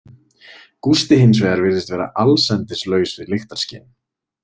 Gústi, hins vegar, virðist vera allsendis laus við lyktarskyn.